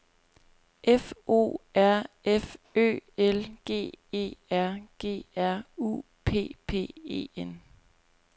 F O R F Ø L G E R G R U P P E N